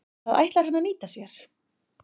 Það ætlar hann að nýta sér.